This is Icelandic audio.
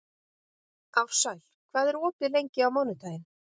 Ársæl, hvað er opið lengi á mánudaginn?